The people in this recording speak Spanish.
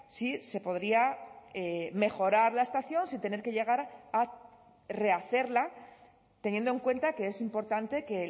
si se podría mejorar la estación sin tener que llegar a rehacerla teniendo en cuenta que es importante que